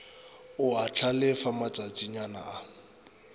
o a hlalefa matšatšana a